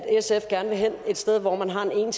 sf gerne vil hen et sted hvor man har en